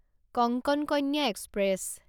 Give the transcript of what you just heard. Konkan Kanya express